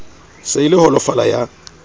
se e le holofala ya